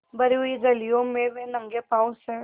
भरी हुई गलियों में वे नंगे पॉँव स्